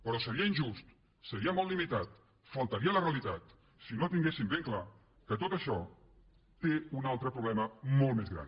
però seria injust seria molt limitat faltaria a la realitat si no tinguéssim ben clar que tot això té un altre problema molt més gran